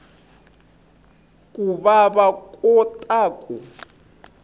ku va va kota ku